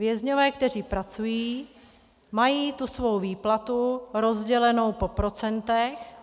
Vězňové, kteří pracují, mají tu svou výplatu rozdělenou po procentech.